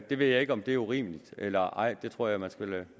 det ved jeg ikke om er urimeligt eller ej det tror jeg man skal lade